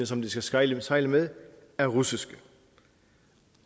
som de skal sejle sejle med er russiske